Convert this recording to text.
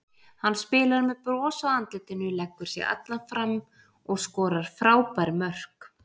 Hann spilar með bros á andlitinu, leggur sig allan fram og skorar frábær mörk.